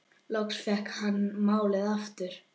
Loksins fékk hann málið aftur.